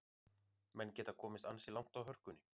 Menn geta komist ansi langt á hörkunni.